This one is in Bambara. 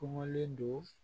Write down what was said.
Kɔngɔlen don